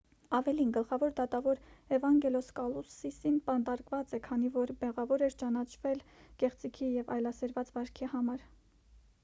ավելին գլխավոր դատավոր էվանգելոս կալուսիսն բանտարկված է քանի որ մեղավոր էր ճանաչվել կեղծիքի և այլասերված վարքի համար